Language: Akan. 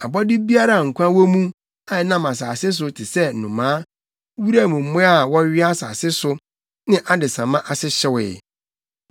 Abɔde biara a nkwa wɔ mu a ɛnam asase so te sɛ nnomaa, wuram mmoa a wɔwea asase so ne adesamma ase hyewee.